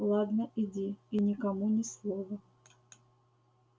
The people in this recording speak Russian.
ладно иди и никому ни слова